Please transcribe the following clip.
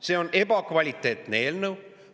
See on ebakvaliteetne eelnõu.